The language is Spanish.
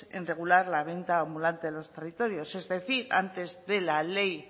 en regular la venta ambulante de los territorios es decir antes de la ley